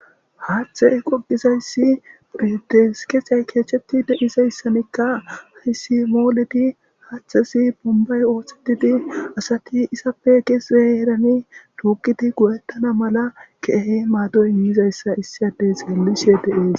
haaththey qoqizayssi pedeskeethay keecheti de7izayssanikka hisi mooledi haaththesi bombay ooththetidi asati isappe kesze erani tuuqidi go7ettana mala keehe maadoy immizayssa issi adey xellishe de'ees